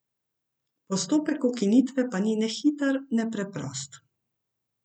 Postopek ukinitve pa ni ne hiter ne preprost.